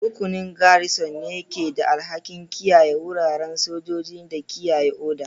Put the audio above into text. Rukunin Garrison ne ke da alhakin kiyaye wuraren sojoji da kiyaye oda.